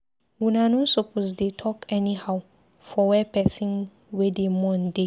Una no suppose to dey talk anyhow for where pesin wey dey mourn dey.